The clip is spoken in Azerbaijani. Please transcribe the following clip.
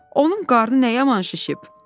Onun qarnı nə yaman şişib?"